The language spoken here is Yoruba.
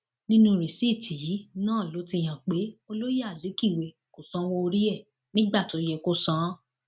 nínú rìsíìtì yìí náà ló ti hàn pé olóye azikiwe kò sanwó orí ẹ nígbà tó yẹ kó san án